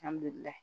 Alihamudulila